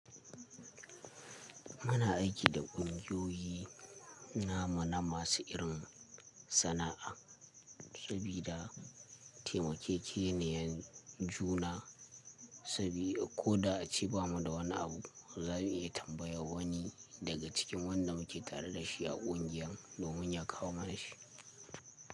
Muna aiki da ƙungiyoyi namu na masu irin sana'a, sabida taimakekeniyar juna, sabida ko da a ce bamu da wani abu, za mu iya tambayar wani daga cikin wanda muke tare da shi a ƙungiyar domin ya kawo mana shi.